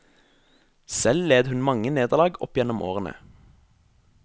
Selv led hun mange nederlag opp gjennom årene.